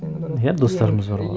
иә достарымыз бар ғой